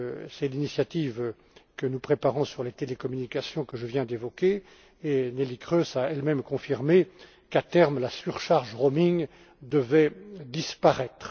loin. C'est l'initiative que nous préparons sur les télécommunications, que je viens d'évoquer. Neelie Kroes a elle même confirmé qu'à terme, la surcharge roaming devait disparaître.